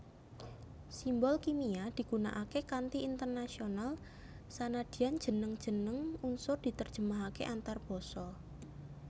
Simbol kimia digunakaké kanthi internasional sanadyan jeneng jeneng unsur diterjemahaké antarbasa